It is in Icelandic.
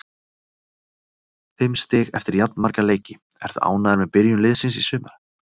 Fimm stig eftir jafnmarga leiki, ertu ánægður með byrjun liðsins í sumar?